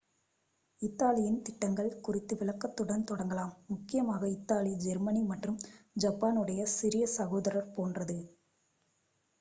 "இத்தாலியின் திட்டங்கள் குறித்த விளக்கத்துடன் தொடங்கலாம். முக்கியமாக இத்தாலி ஜெர்மனி மற்றும் ஜப்பானுடைய "சிறிய சகோதரர்" போன்றது.